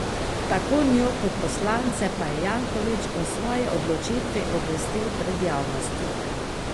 Tako njo kot poslance pa je Janković o svoji odločitvi obvestil pred javnostjo.